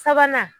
Sabanan